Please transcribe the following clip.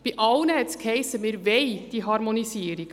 Bei allen hiess es, sie wollten diese Harmonisierung.